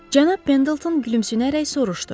Cənab Pendleton gülümsünərək soruşdu.